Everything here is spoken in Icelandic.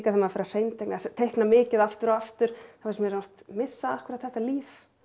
maður fer að hreinteikna teikna mikið aftur og aftur þá finnst mér ég oft missa akkúrat þetta líf